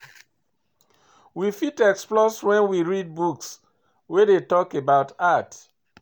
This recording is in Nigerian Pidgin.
We fit explore when we read book wey dey talk about art